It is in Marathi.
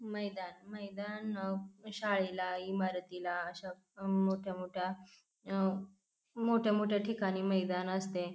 मैदान मैदान शाळेला इमारतीला अशा मोठ्या मोठ्या अह मोठ्या मोठ्या ठिकाणी मैदान असते.